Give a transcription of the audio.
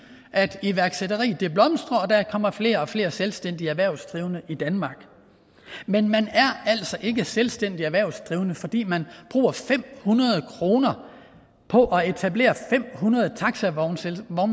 at iværksætteri blomstrer og at der kommer flere og flere selvstændige erhvervsdrivende i danmark men man er altså ikke selvstændig erhvervsdrivende fordi man bruger fem hundrede kroner på at etablere fem hundrede taxavognmandsselskaber